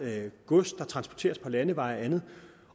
gods der transporteres på landeveje og andet